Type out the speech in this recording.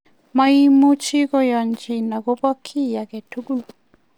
maimuch koyanchikei akobo kiy agetugul